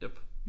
Jep